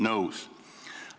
Nõus.